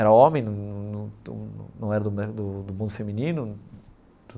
Era homem, num num num era né do do mundo feminino.